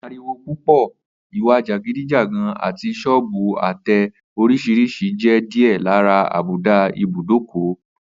Ariwo púpò̩, ìwà jàgídíjàgan, àti só̩ò̩bù àte̩ orís̩irís̩i jé̩ díè̩ lára àbùdá ibùdókò